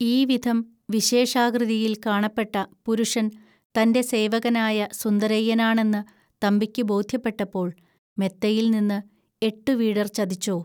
ഈ വിധം വിശേഷാകൃതിയിൽ കാണപ്പെട്ട പുരുഷൻ തന്റെ സേവകനായ സുന്ദരയ്യനാണെന്ന് തമ്പിക്കു ബോദ്ധ്യപ്പെട്ടപ്പോൾ മെത്തയിൽനിന്ന് എട്ടുവീടർ ചതിച്ചോ